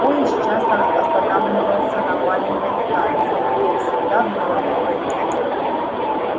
поезд часто останавливался на маленьких станциях где всегда было много людей